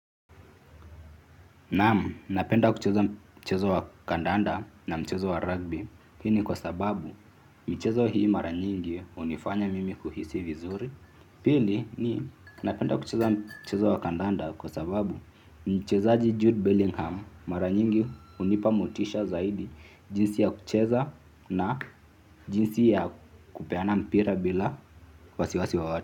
Naam, napenda kucheza mchezo wa kandanda na mchezo wa rugby. Hii ni kwa sababu, michezo hii mara nyingi hunifanya mimi kuhisi vizuri. Pili ni, napenda kucheza mchezo wa kandanda kwa sababu, mchezaji Jude Bellingham mara nyingi unipa motisha zaidi jinsi ya kucheza na jinsi ya kupeana mpira bila wasiwasi wowote.